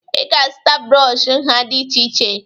Ị ga-azụta brọọshị nha dị iche iche